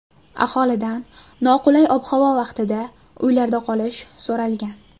Aholidan noqulay ob-havo vaqtida uylarda qolish so‘ralgan.